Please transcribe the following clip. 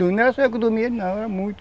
Não era só eu que dormia ali não, era muitos.